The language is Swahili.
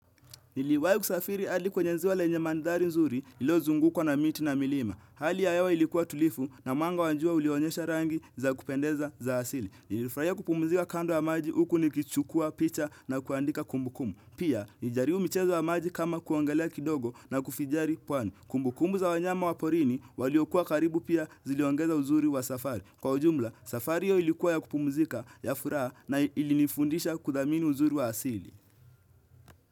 Niliwahi kusafiri hadi kwenye ziwa lenye mandhari nzuri lililozungukwa na miti na milima. Hali ya hewa ilikuwa tulivu na mwanga wa jua ulionyesha rangi za kupendeza za asili. Nilifurahia kupumzika kando wa maji huku nikichukua picha na kuandika kumbukumbu. Pia, nilijaribu mchezo wa maji kama kuogelea kidogo na kufijari pwani. Kumbukumbu za wanyama wa porini waliokuwa karibu pia ziliongeza uzuri wa safari. Kwa ujumla, safari hiyo ilikuwa ya kupumzika ya furaha na ilinifundisha kudhamini uzuri wa asili.